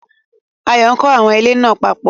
Ayọ̀ kó àwọn ilẹ̀ náà papọ̀